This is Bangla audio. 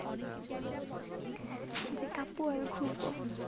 শীতে কাঁপবো আর ঘুরবো।